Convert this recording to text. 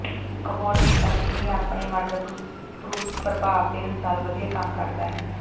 ਇਕ ਹੋਰ ਨੇ ਕਿਹਾ ਕਿ ਇਹ ਆਪਣੇ ਵਾਟਰਪ੍ਰੂਫ ਪ੍ਰਭਾਵ ਦੇ ਅਨੁਸਾਰ ਵਧੀਆ ਕੰਮ ਕਰਦਾ ਹੈ